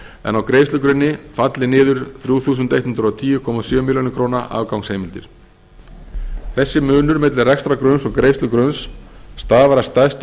en á greiðslugrunni falli niður þrjú þúsund hundrað og tíu komma sjö milljónir króna afgangsheimildir þessi munur milli rekstrargrunns og greiðslugrunns stafar að stærstum